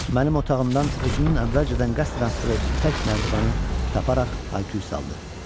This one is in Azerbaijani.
Mənim otağımdan özünün əvvəlcədən qəsdən atdığı ipək nərdivanı taparaq hay-küy saldı.